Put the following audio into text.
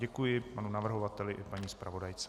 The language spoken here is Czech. Děkuji panu navrhovateli i paní zpravodajce.